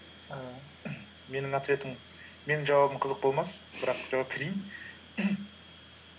ііі менің жауабым қызық болмас бірақ жауап берейін